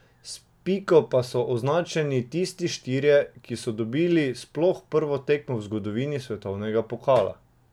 S piko pa so označeni tisti štirje, ki so dobili sploh prvo tekmo v zgodovini svetovnega pokala.